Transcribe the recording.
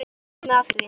Nú er komið að því.